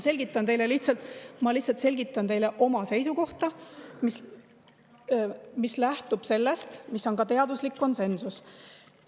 Ma lihtsalt selgitan teile oma seisukohta, mis lähtub ka teaduslikust konsensusest.